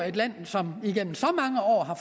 et land som igennem så mange år har